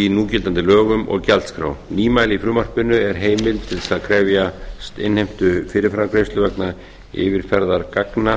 í núgildandi lögum og gjaldskrá nýmæli í frumvarpinu er heimild til að krefjast innheimtu fyrirframgreiðslu vegna yfirferðar gagna